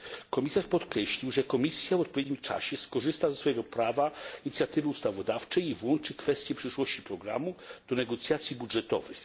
Komisarz podkreślił, że Komisja w odpowiednim czasie skorzysta ze swojego prawa inicjatywy ustawodawczej i włączy kwestię przyszłości programu do negocjacji budżetowych.